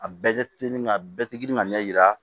A bɛɛ kɛ teliman a bɛɛ tɛ girin ka ɲɛ yira